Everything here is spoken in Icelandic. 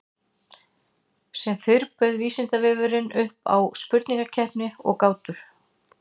Sem fyrr bauð Vísindavefurinn upp á spurningakeppni og gátur.